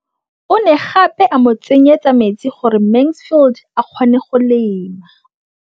O ne gape a mo tsenyetsa metsi gore Mansfield a kgone go lema.